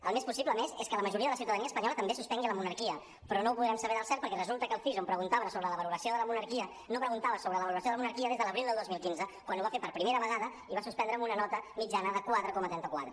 el més possible a més és que la majoria de la ciutadania espanyola també suspengui la monarquia però no ho podrem saber del cert perquè resulta que el cis on preguntava sobre la valoració de la monarquia no preguntava sobre la valoració de la monarquia des de l’abril del dos mil quinze quan ho va fer per primera vegada i va suspendre amb una nota mitjana de quatre coma trenta quatre